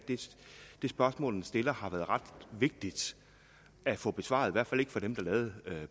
det spørgsmål den stiller har været ret vigtigt at få besvaret i hvert fald ikke for dem der lavede